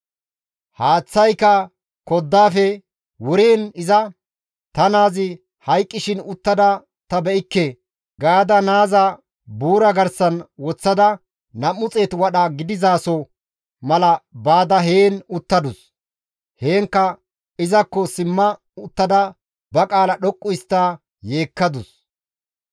Haaththayka koddaafe wuriin iza, «Ta naazi hayqqishin uttada ta iza be7ikke» gaada naaza buura garsan woththada 200 wadha gidizaso mala baada heen uttadus; heenkka izakko simma uttada ba qaala dhoqqu histta yeekkadus.